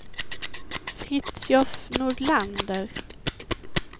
Fritiof Nordlander